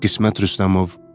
Qismət Rüstəmov.